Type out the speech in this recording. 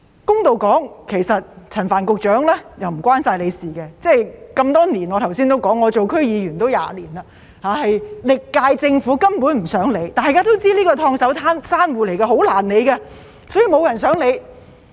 公道點說，這不只限於陳帆局長的事，我剛才說過，這是多年來的問題，我做區議員也20年，歷屆政府根本不想處理，大家都知道這是"燙手山芋"，很難處理，所以沒有人想處理。